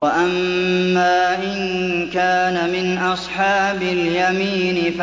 وَأَمَّا إِن كَانَ مِنْ أَصْحَابِ الْيَمِينِ